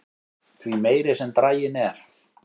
því meiri sem draginn er